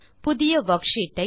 புதிய வர்க்ஷீட் ஐ